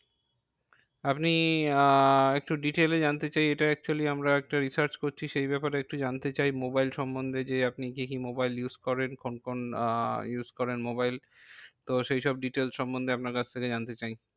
আপনি আহ একটু detail এ জানতে চাই, এটা actually আমরা একটা research করছি। সেই ব্যাপারে একটু জানতে চাই মোবাইল সন্বন্ধে যে আপনি কি কি মোবাইল use করেন? কোন আহ use করেন মোবাইল? তো সেইসব details সন্বন্ধে আপনার কাছ থেকে জানতে চাই।